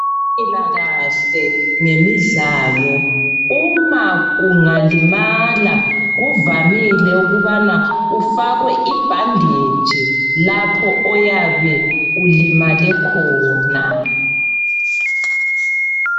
Impilakahle ngemidlalo. Uma ungalimala kuvamile ukubana ufakwe ibandetshi lapho oyabe ulimale khona.